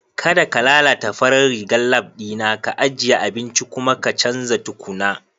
Kada ka lalata farar rigar lab ɗina, ka ajiye abincin kuma ka canza tukuna.